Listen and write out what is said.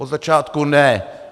Od začátku ne.